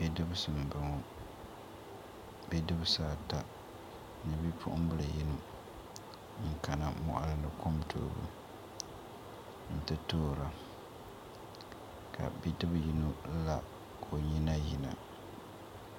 Bidibsi n boŋo bidibsi ata ni bipuɣunbili yino n kana moɣali ni kom toobu n ti toora ka bidib yino la ka o nyina yina